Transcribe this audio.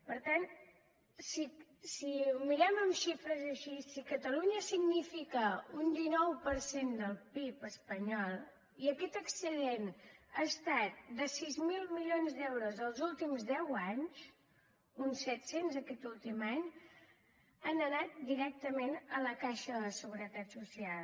per tant si ho mirem en xifres així si catalunya significa un dinou per cent del pib espanyol i aquest excedent ha estat de sis mil milions d’euros els últims deu anys uns set cents aquest últim any han anat directament a la caixa de la seguretat social